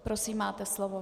Prosím, máte slovo.